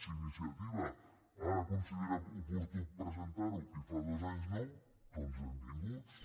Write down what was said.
si iniciativa ara considera oportú presentar ho i fa dos anys no doncs benvinguts